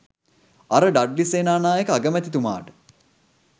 අර ඩඩ්ලි සේනානායක අගමැතිතුමාට